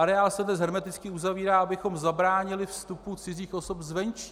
Areál se dnes hermeticky uzavírá, abychom zabránili vstupu cizích osob zvenčí.